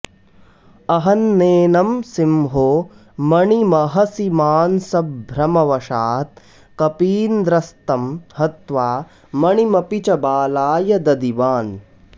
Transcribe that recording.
अहन्नेनं सिंहो मणिमहसि मांसभ्रमवशात् कपीन्द्रस्तं हत्वा मणिमपि च बालाय ददिवान्